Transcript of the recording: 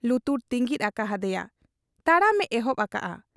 ᱞᱩᱛᱩᱨ ᱛᱤᱸᱜᱤᱫ ᱟᱠᱟ ᱦᱟᱫᱮᱭᱟ ᱾ ᱛᱟᱲᱟᱢᱮ ᱮᱦᱚᱵ ᱟᱠᱟᱜ ᱟ ᱾